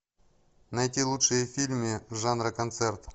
найти лучшие фильмы жанра концерт